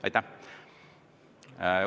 Aitäh!